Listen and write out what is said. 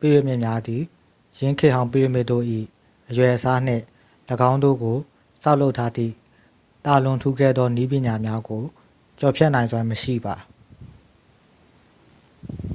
ပိရမစ်များသည် ယင်းခေတ်ဟောင်းပိရမစ်တို့၏ အရွယ်အစားနှင့် ၎င်းတို့ကိုဆောက်လုပ်ထားသည့် သာလွန်ထူးကဲသောနည်းပညာများကို ကျော်ဖြတ်နိုင်စွမ်းမရှိပါ